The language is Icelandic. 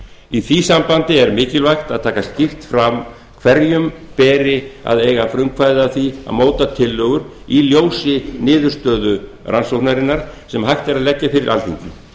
í því sambandi er mikilvægt að taka skýrt fram hverjum beri að eiga frumkvæði að því að móta tillögur í ljósi niðurstöðu rannsóknarinnar sem hægt er að leggja fyrir alþingi